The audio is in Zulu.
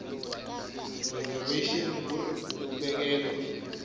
reservation ngur ukubekelwa